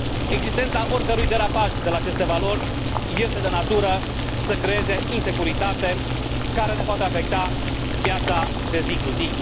Existența oricărui derapaj de la aceste valori este de natură să creeze insecuritate, care ne poate afecta viața de zi cu zi.